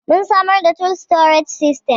mun samar da tool storage system